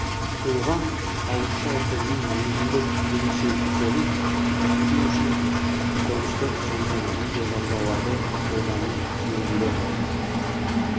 оған ауызша тілдің өзіндік ерекшеліктерін көрсету үшін дыбыстық және видеожазбаларды қолдану тиімді